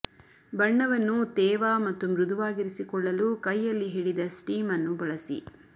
ಬಣ್ಣವನ್ನು ತೇವ ಮತ್ತು ಮೃದುವಾಗಿರಿಸಿಕೊಳ್ಳಲು ಕೈಯಲ್ಲಿ ಹಿಡಿದ ಸ್ಟೀಮ್ ಅನ್ನು ಬಳಸಿ